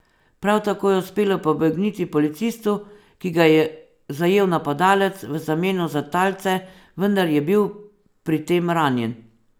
Prav tako je uspelo pobegniti policistu, ki ga je zajel napadalec v zameno za talce, vendar je bil pri tem ranjen.